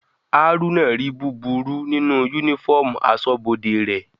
Haruna ri búburú nínú uniform asọ́bodè rẹ̀.